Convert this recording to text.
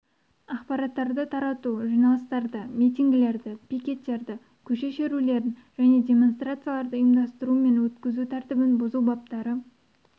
ақпараттарды тарату жиналыстарды митингілерді пикеттерді көше шерулерін және демонстрацияларды ұйымдастыру мен өткізу тәртібін бұзу баптары